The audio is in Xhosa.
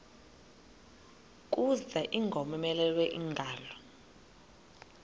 kuza ingowomeleleyo ingalo